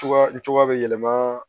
Cogoya bɛ yɛlɛma